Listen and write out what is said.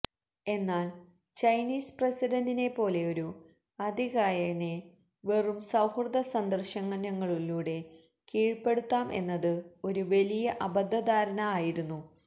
എന്നാല് ചൈനീസ് പ്രസിഡന്റിനെ പോലെയൊരു അതികായനെ വെറും സൌഹൃദ സന്ദര്ശനങ്ങളിലൂടെ കീഴ്പ്പെടുത്താം എന്നത് ഒരു വലിയ അബദ്ധ ധാരണ ആയിരുന്നു